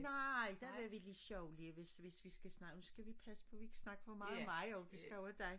Nej der vil vi lige sørgelig hvis vi snakker nu skal vi passe på vi ikke snakker for meget om mig jo vi skal over i dig